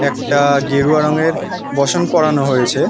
একটা গেরুয়া রং এর বোসন পোড়ানো হয়েছে